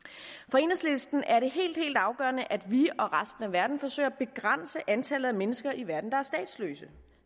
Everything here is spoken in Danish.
for enhedslisten er det helt helt afgørende at vi og resten af verden forsøger at begrænse antallet af mennesker i verden der er statsløse